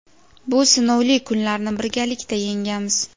bu sinovli kunlarni birgalikda yengamiz.